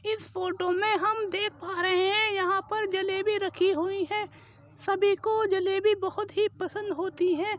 इस फ़ोटो में हम देख पा रहे हैं यहां पर जलेबी रखी हुई है। सभी को जलेबी बहोत ही पसंद होती है।